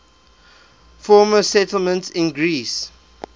former settlements in greece